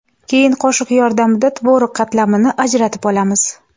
Keyin qoshiq yordamida tvorog qatlamini ajratib olamiz.